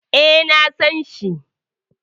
E, na san shi.